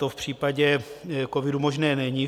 To v případě covidu možné není.